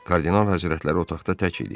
Kardinal Həzrətləri otaqda tək idi.